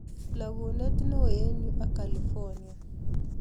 Lagunet neo eng yuu ak california